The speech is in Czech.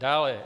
Dále.